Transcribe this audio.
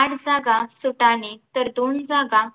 आठ जागा सुटाणे तर दोन जागा